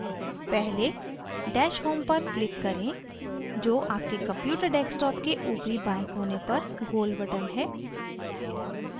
पहले dash home पर click करें जो आपके computer desktop के ऊपरी बाएं कोने पर गोल button है